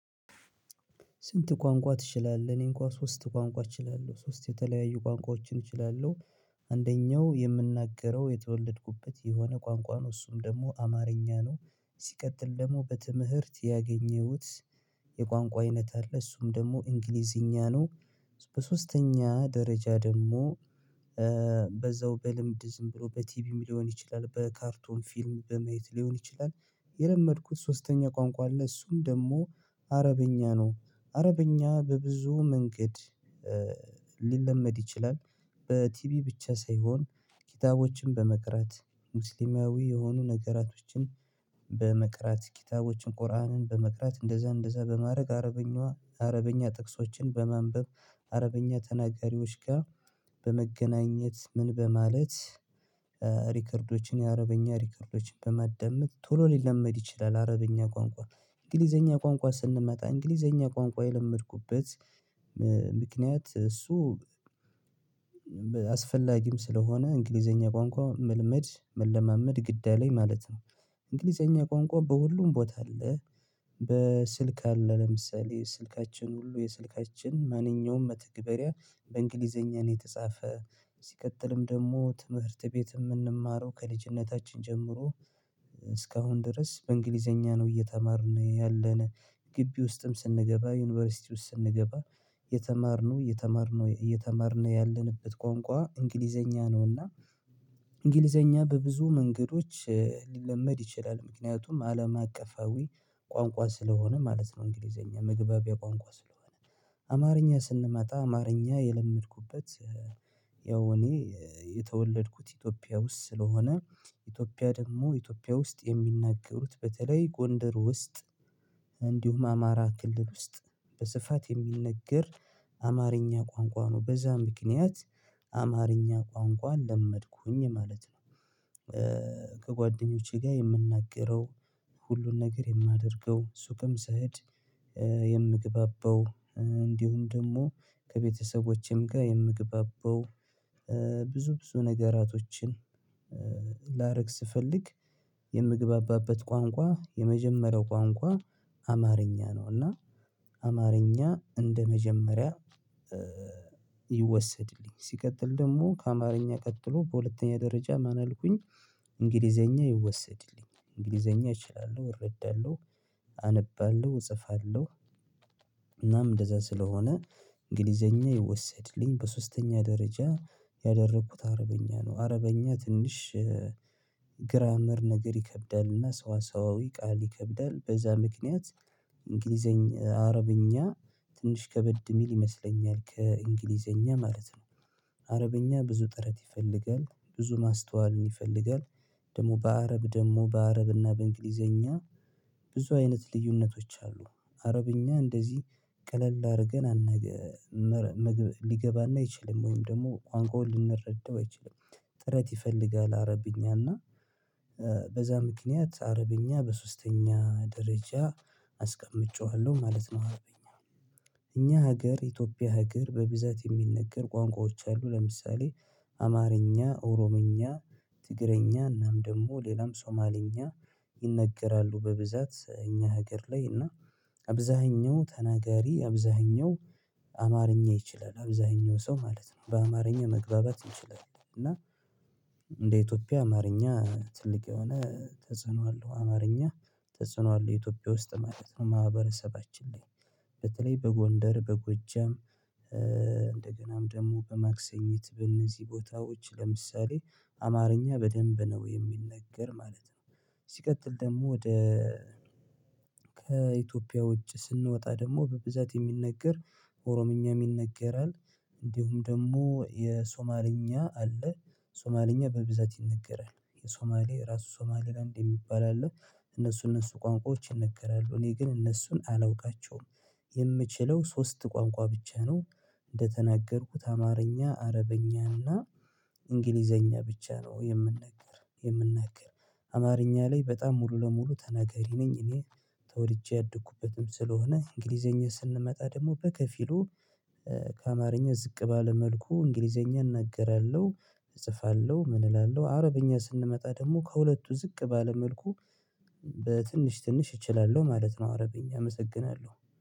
ስንት ቋንቋ ትችላለህ? እኔ እንኳን ሶስት ቋንቋ እችላለሁ ሶስት የተለያዩ ቋንቋዎችን እችላለሁ አንደኛው የምናገረው የተወለድኩበት የሆነ ቋንቋ ነው እሱም ደግሞ አማርኛ ነው ሲቀጥል ደግሞ በትምህርት ያገኘሁት የቋንቋ አይነት አለ እሱም ደግሞ እንግሊዝኛ ነው በሶስተኛ ደረጃ ደግሞ በዛው በልምድ ዝም ብሎ በቲቪ ሊሆን ይችላል በካርቶን ፊልም በማየት ሊሆን ይችላል የለመድኩት ሶስተኛ ቋንቋ ለእሱም ደግሞ አረብኛ ነው አረብኛ በብዙ መንገድ ሊለመድ ይችላል በቲቪ ብቻ ሳይሆን ኪታቦችን በመቅራት ሙስሊማዊ የሆኑ ነገራቶችን በመቅራት ኪታቦችን ቁርአንን በመቅራት እንደዛ እንደዛ በማድረግ አረብኛ አረብኛ ጥቅሶችን በመንበብ አረብኛ ተናጋሪዎች ጋር በመገናኘት ምን በማለት ሪከርዶችን የአረብኛ ሪከርዶችን በመደመጥ ቶሎ ሊለመድ ይችላል አረብኛ ቋንቋ እንግሊዝኛ ቋንቋ ስንመጣ እንግሊዝኛ ቋንቋ የለመድኩበት ምክንያት እሱ አስፈላጊም ስለሆነ እንግሊዝኛ ቋንቋ መልመድ መልመድ ግድ አለኝ ማለት ነው እንግሊዝኛ ቋንቋ በሁሉም ቦታ አለ በስልክ አለ ለምሳሌ ስልካችን ሁሉ የስልካችን ማንኛውም መተግበሪያ በእንግሊዝኛ ነው የተጻፈ ሲቀጥልም ደግሞ ትምህርት ቤት የምንማረው ከልጅነታችን ጀምሮ እስካሁን ድረስ በእንግሊዝኛ ነው እየተማርን ያለን ግቢ ውስጥም ስንገባ ዩኒቨርሲቲ ውስጥ ስንገባ የተማርነው የተማርነው የተማርነው ያለንበት ቋንቋ እንግሊዝኛ ነውና እና እንግሊዝኛ በብዙ መንገዶች ሊለመድ ይችላል ምክንያቱም አለም አቀፋዊ ቋንቋ ስለሆነ ማለት ነው እንግሊዝኛ መግባቢያ ቋንቋ ስለሆነ አማርኛ ስንመጣ አማርኛ የለመድኩበት ያው እኔ የተወለድኩት ኢትዮጵያ ውስጥ ስለሆነ ኢትዮጵያ ደግሞ ኢትዮጵያ ውስጥ የሚናገሩት በተለይ ጎንደር ውስጥ እንዲሁም አማራ ክልል ውስጥ በስፋት የሚነገር አማርኛ ቋንቋ ነው በዛ ምክንያት አማርኛ ቋንቋን ለመድኩኝ ማለት ነው ከጓደኞቼ ጋር የምናገረው ሁሉን ነገር የማደርገው ሱቅም ስሄድ የምግባባው እንዲሁም ደግሞ ከቤተሰቦቼም ጋር የምግባባው ብዙ ብዙ ነገራቶችን ላረግ ስፈልግ የምግባባበት ቋንቋ የመጀመሪያው ቋንቋ አማርኛ ነው እና አማርኛ እንደመጀመሪያ ይወሰድልኝ ሲቀጥል ደግሞ ከአማርኛ ቀጥሎ በሁለተኛ ደረጃ ማን አልኩኝ እንግሊዝኛ ይወሰድልኝ እንግሊዝኛ እችላለሁ እረዳለሁ አነባለሁ እጽፋለሁ እናም እንደዛ ስለሆነ እንግሊዝኛ ይወሰድልኝ በሶስተኛ ደረጃ ያደረኩት አረብኛ ነው አረብኛ ትንሽ ግራመር ነገር ይከብዳልና ሰዋሰዋዊ ቃል ይከብዳል በዛ ምክንያት እንግሊዝኛ አረብኛ ትንሽ ከበድ የሚል ይመስለኛል ከእንግሊዝኛ ማለት ነው አረብኛ ብዙ ጥረት ይፈልጋል ብዙ ማስተዋልን ይፈልጋል ደግሞ በአረብ ደግሞ በአረብና በእንግሊዝኛ ብዙ አይነት ልዩነቶች አሉ አረብኛ እንደዚህ ቀለል አድርገን ሊገባን አይችልም ወይም ደግሞ ቋንቋውን ልንረዳው አንችልም ጥረት ይፈልጋል አረብኛና በዛ ምክንያት አረብኛ በሶስተኛ ደረጃ አስቀምጬዋለሁ ማለት ነው አረብኛ እኛ ሀገር ኢትዮጵያ ሀገር በብዛት የሚነገር ቋንቋዎች አሉ ለምሳሌ አማርኛ ኦሮምኛ ትግረኛ እናም ደግሞ ሌላም ሶማልኛ ይነገራሉ በብዛት ሀገር ላይ እና አብዛኛው ተናጋሪ አብዛኛው አማርኛ ይችላል አብዛኛው ሰው ማለት ነው በአማርኛ መግባባት ይችላል እና እንደ ኢትዮጵያ አማርኛ ትልቅ የሆነ ተጽዕኖ አለው አማርኛ ተጽዕኖ አለው ኢትዮጵያ ውስጥ ማለት ነው ማህበረሰባችን ላይ በተለይ በጎንደር በጎጀም እንደገናም ደግሞ በማክሰኝት በነዚህ ቦታዎች ለምሳሌ አማርኛ በደንብ ነው የሚነገር ማለት ነው ሲቀጥል ደግሞ ወደ ከኢትዮጵያ ውጭ ስንወጣ ደግሞ በብዛት የሚነገር ኦሮምኛ ይነገራል እንዲሁም ደግሞ የሶማልኛ አለ ሶማልኛ በብዛት ይነገራል የሶማሌ ራሱ ሶማሌ ላንድ የሚባል አለው እነሱ እነሱ ቋንቋዎች ይነገራሉ እኔ ግን እነሱን አላውቃቸውም የምችለው ሶስት ቋንቋ ብቻ ነው እንደተናገርኩት አማርኛ አረብኛ እና እንግሊዝኛ ብቻ ነው የምና የምናገር አማርኛ ላይ በጣም ሙሉ ለሙሉ ተናገሪ ነኝ እኔ አደኩበትም ስለሆነ እንግሊዝኛ ስንመጣ ደግሞ በከፊሉ ከአማርኛ ዝቅ ባለ መልኩ እንግሊዝኛን እናገራለሁ እጽፋለሁ ምን እላለሁ አረብኛ ስንመጣ ደግሞ ከሁለቱ ዝቅ ባለ መልኩ በትንሽ ትንሽ እችላለሁ ማለት ነው አረብኛ አመሰግናለሁ